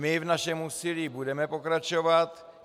My v našem úsilí budeme pokračovat.